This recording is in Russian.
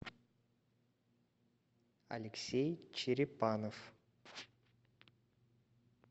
алексей черепанов